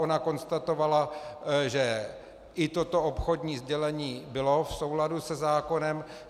Ona konstatovala, že i toto obchodní sdělení bylo v souladu se zákonem.